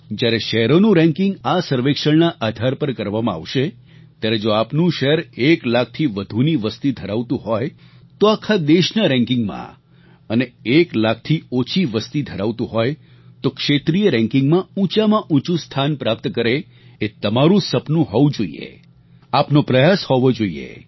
જ્યારે શહેરોનું રેન્કિંગ આ સર્વેક્ષણના આધાર પર કરવામાં આવશે ત્યારે જો આપનું શહેર એક લાખથી વધુની વસ્તી ધરાવતું હોય તો આખા દેશના રેન્કિંગ માં અને એક લાખથી ઓછી વસ્તી ધરાવતું હોય તો ક્ષેત્રીય રેન્કિંગ માં ઊંચામાં ઊંચું સ્થાન પ્રાપ્ત કરે એ તમારું સપનું હોવું જોઈએ આપનો પ્રયાસ હોવો જોઈએ